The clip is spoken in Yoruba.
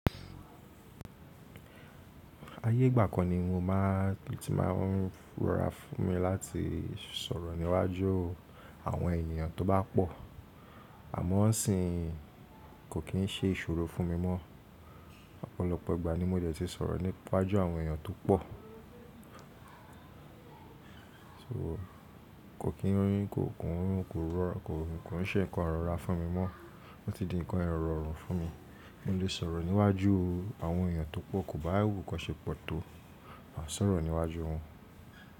Ayé ìgbà kan ni mo máà, tí màá ń rọra fún mi láti sọ̀rọ̀ níwájú àwọn ènìyàn tó bá pọ̀, àmọ́ isinyi kò kí ń ṣe ìṣòro fún mi mọ. Ọ̀pọ̀lọpọ̀ ìgbà ni mo dẹ̀ ti sọ̀rọ̀ níwájú àwọn ènìyàn tó pọ̀. So kò kí ń, kò kí ń ṣe nǹkan rọra fún mi mọ́, ó ti di nǹkan irorun fún mi. Mo lè sọ̀rọ̀ níwájú àwọn ènìyàn tó pọ̀, kò bá wù kan ṣe pọ̀ tó má sọ̀rọ̀ níwájú wọn.